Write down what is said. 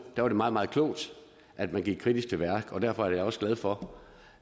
var det meget meget klogt at man gik kritisk til værks derfor er jeg også glad for